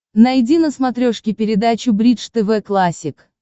найди на смотрешке передачу бридж тв классик